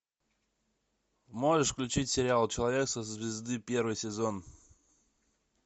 можешь включить сериал человек со звезды первый сезон